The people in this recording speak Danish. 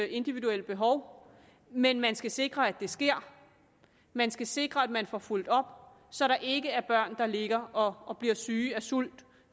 individuelle behov men man skal sikre at det sker man skal sikre at man får fulgt op på så der ikke er børn der ligger og og bliver syge af sult